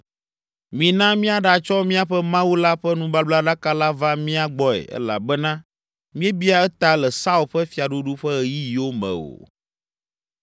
Mina míaɖatsɔ míaƒe Mawu la ƒe nubablaɖaka la va mía gbɔe elabena míebia eta le Saul ƒe fiaɖuɖu ƒe ɣeyiɣiwo me o.”